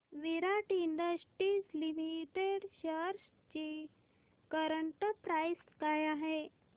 विराट industries limited shares ची current price काय आहे